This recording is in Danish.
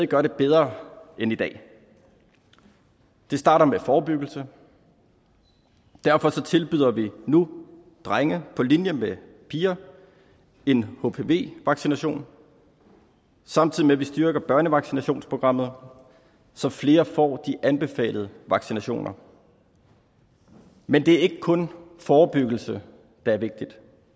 gøre det bedre end i dag det starter med forebyggelse derfor tilbyder vi nu drenge på linje med piger en hpv vaccination samtidig med at vi styrker børnevaccinationsprogrammet så flere får de anbefalede vaccinationer men det er ikke kun forebyggelse der er vigtig